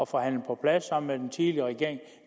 forhandle på plads sammen med den tidligere regering